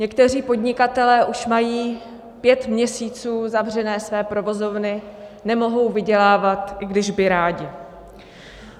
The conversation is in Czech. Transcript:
Někteří podnikatelé už mají pět měsíců zavřené své provozovny, nemohou vydělávat, i když by rádi.